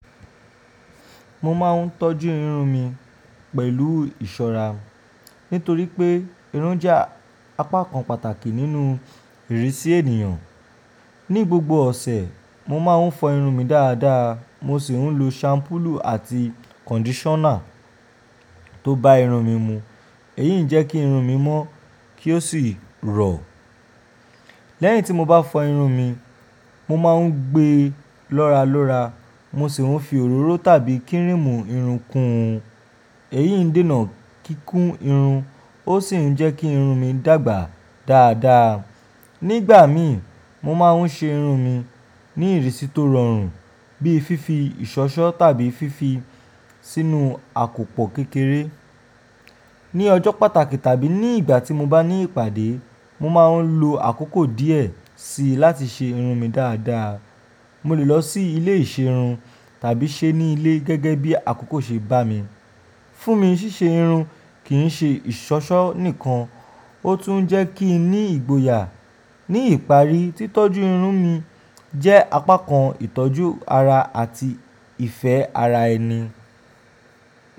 Mo ma ń tọ́jú irun mi pẹ̀lú ìṣọra, nítorí pé irun jẹ́ apá kan pàtàkì nínú ìrísí ènìyàn. Ní gbogbo ọ̀sẹ̀, mo máa ń fọ irun mi dáadáa, mo sì ń lo ṣàmúpùlù àti kọ̀ndíṣọ́nà tó ba irun mi mu. Èyí ń jẹ́ kí irun mi mọ́ kí ó sì rọ̀. Lẹ́yìn tí mo bá fọ irun mi, mo máa ń gbé lọ́rálọ́rá, mo sì ń fi òróró tàbí kíríìmù irun kun. Èyí ń dènà kíkún irun, ó sì ń jẹ́ kí irun mi dàgbà dáadáa. Nígbà mìí, mo máa ń ṣe irun mi ní ìrísí tó rọrùn, bíi fífi ìṣọ́ṣọ́ tàbí fífi sínú àkòpọ̀ kékeré. Ní ọjọ́ pàtàkì tàbí ní ìgbà tí mo bá ní ìpàdé, mo máa ń lo àkókò díẹ̀ síi láti ṣe irun mi dáadáa. Mo lè lọ sí ilé ìṣerun tàbí ṣe ní ilé gẹ́gẹ́ bí àkókò ṣe bá mi. Fún mi, ṣíṣe irun kì í ṣe ìṣọ́ṣọ́ nìkan, ó tún jẹ́ kí ń ní ìgboyà. Ní ìparí, títọ́jú irun mi jẹ́ apá kan ìtọ́jú ara àti ìfẹ́ ara ẹni.